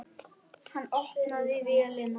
Hann opnaði vélina.